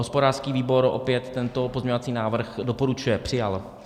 Hospodářský výbor opět tento pozměňovací návrh doporučuje, přijat.